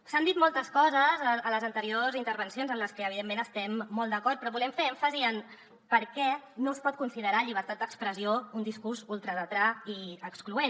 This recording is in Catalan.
s’han dit moltes coses a les anteriors intervencions amb les que evidentment estem molt d’acord però volem fer èmfasi en per què no es pot considerar llibertat d’expressió un discurs ultradretà i excloent